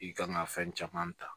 I kan ka fɛn caman ta